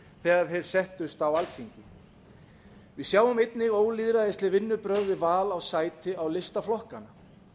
þegar þeir settust á alþingi við sjáum einnig ólýðræðisleg vinnubrögð við val á sæti á lista flokkanna